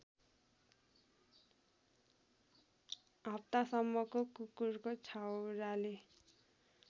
हप्तासम्मको कुकुरको छाउराले